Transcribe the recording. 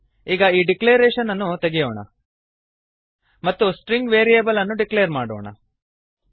ಈಗ ಈ ಡಿಕ್ಲರೇಶನ್ ಅನ್ನು ತೆಗೆಯೋಣ ಮತ್ತು ಸ್ಟ್ರಿಂಗ್ ವೇರಿಯೇಬಲ್ ಅನ್ನು ಡಿಕ್ಲೇರ್ ಮಾಡೋಣ